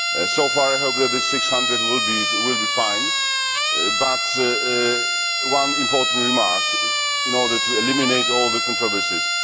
So far I hope that this 600 will be fine, but I have one important remark in order to eliminate all the controversies.